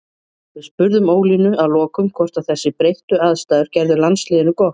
Við spurðum Ólínu að lokum hvort að þessar breyttu aðstæður gerðu landsliðinu gott.